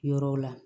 Yɔrɔw la